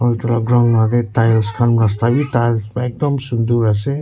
aro etu la ground aro tiles kan rasta vi tiles vra ekdum sundur ase.